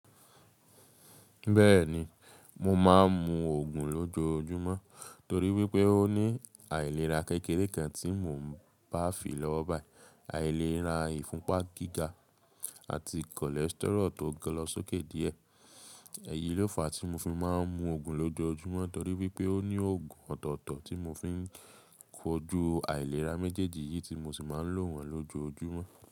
Bẹ́ẹ̀ni, mo máa ń mu oogùn lójoojúmọ́ torí wípé ó ní aìlera kékeré kan tí mò ń bá fi lọ́wọ́ báyìí, aìlera ìfúnpá gíga àti cholesterol tó lọ sókè díẹ̀. Ẹ̀yi ló fàá tí mo fi máa ń mu oogùn lójoojúmọ́ torí wípé ó ní oogùn ọ̀tọ̀ọ̀tọ̀ tí mo fi ń kojú aìlera méjèèjì yìí tí mo sì máa ń lò wọ́n lójoojúmọ́.